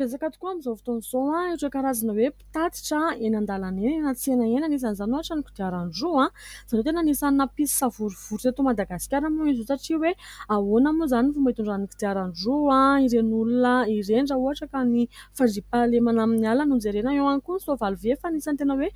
Betsaka tokoa amin'izao fotoan'izao ireny karazana mpitatitra entana eny an-dalana na tsena ; isan'izany ohatra ny kodiaran-droa izay tena anisany nampisy savorivory teto Madagasikara moa izy io satria hoe ahoana moa izany fomba itondrany kodiaran-droa ireny olona ireny raha ohatra ka ny fandria-pahalemana amin'ny alina no jerena eo ihany koa ny soavaly vy, fa anisany tena hoe